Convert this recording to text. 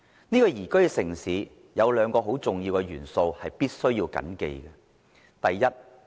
這裏有兩個很重要的元素是必須緊記的。